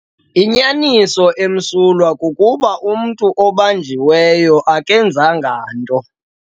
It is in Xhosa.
Inyaniso emsulwa kukuba umntu obanjiweyo akenzanga nto.